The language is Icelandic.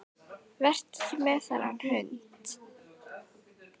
Vertu ekki með þennan hund.